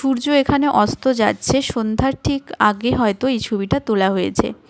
সূর্য এখানে অস্ত যাচ্ছে সন্ধ্যার ঠিক আগে হয়তো এই ছবিটা তোলা হয়েছে.